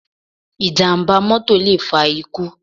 Ìjàm̀bá mọ́tọ̀ lè fa ikú.